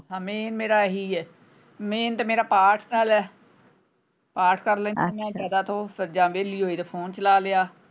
Main ਮੇਰਾ ਹੈ main ਤੇ ਮੇਰਾ ਪਾਠ ਨਾਲ ਹੈ ਪਾਠ ਕਰ ਲੈਣੀ ਆਂ ਅੱਛਾ ਜਿਆਦਾ ਤੋ ਜਾਂ ਵੇਹਲੀ ਹੋਈ ਤੇ phone ਚਲਾ ਲਿਆ।